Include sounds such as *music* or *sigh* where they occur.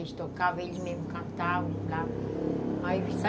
Eles tocavam, eles mesmo cantavam *unintelligible*